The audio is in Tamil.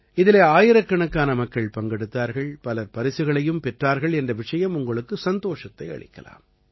இதிலே ஆயிரக்கணக்கான மக்கள் பங்கெடுத்தார்கள் பலர் பரிசுகளையும் பெற்றார்கள் என்ற விஷயம் உங்களுக்கு சந்தோஷத்தை அளிக்கலாம்